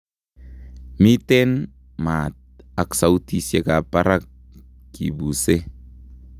Miiten maat ak sautisieka ab barak kibuuse